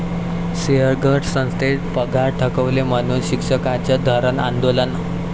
सिंहगड संस्थेनं पगार थकवले म्हणून शिक्षकांचं धरणं आंदोलन